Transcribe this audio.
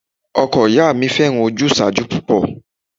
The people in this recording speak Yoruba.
Ọkọ ìyá mi fẹ́ràn ojúsàájú púpọ̀